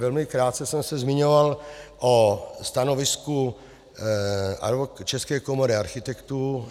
Velmi krátce jsem se zmiňoval o stanovisku České komory architektů.